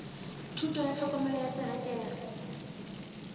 thuto ya tlhokomelo ya terekere